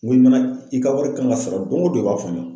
Ni mɛn na i ka wari kan ka sara don o don i b'a fɔ n ye.